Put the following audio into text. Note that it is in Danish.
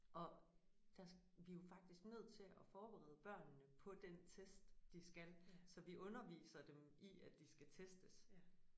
Og der vi jo faktisk nødt til at forberede børnene på den test de skal så vi underviser dem i at de skal testes